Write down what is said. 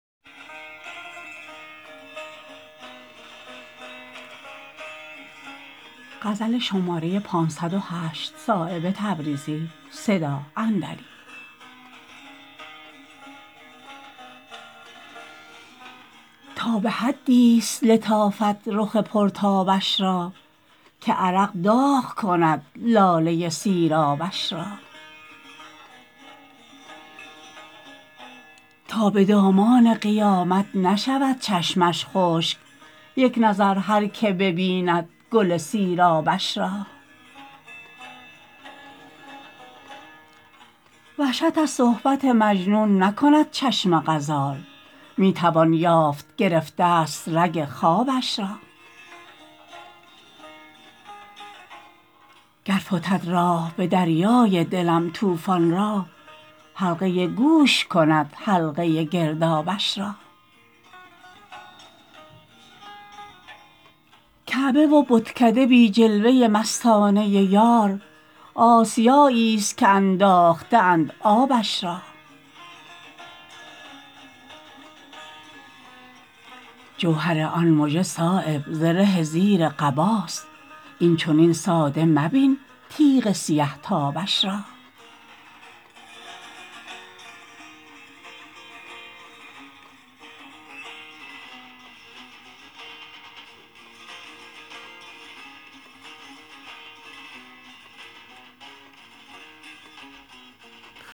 تا به حدی است لطافت رخ پرتابش را که عرق داغ کند لاله سیرابش را تا به دامان قیامت نشود چشمش خشک یک نظر هر که ببیند گل سیرابش را وحشت از صحبت مجنون نکند چشم غزال می توان یافت گرفته است رگ خوابش را گر فتد راه به دریای دلم طوفان را حلقه گوش کند حلقه گردابش را کعبه و بتکده بی جلوه مستانه یار آسیایی است که انداخته اند آبش را جوهر آن مژه صایب زره زیر قباست این چنین ساده مبین تیغ سیه تابش را